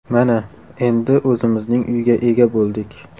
Mana, endi o‘zimizning uyga ega bo‘ldik.